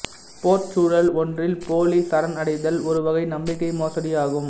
போர்ச் சூழல் ஒன்றில் போலிச் சரணடைதல் ஒரு வகை நம்பிக்கை மோசடி ஆகும்